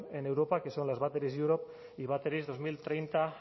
en europa que son las batteries europe y battery dos mil treinta